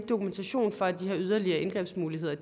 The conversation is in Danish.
dokumentation for at de her yderligere indgrebsmuligheder